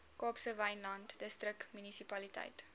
kaapse wynland distriksmunisipaliteit